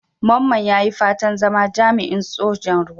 Mamman ya yi fatan zama jami'in Sojan Ruwa.